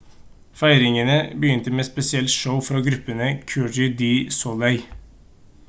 feiringene begynte med et spesielt show fra gruppen cirque du soleil